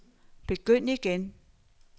begynd igen